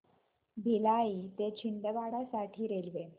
भिलाई ते छिंदवाडा साठी रेल्वे